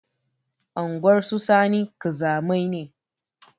Unguwar su sani ƙazamai ne